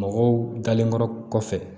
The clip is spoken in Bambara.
Mɔgɔw dalenkɔrɔ kɔfɛ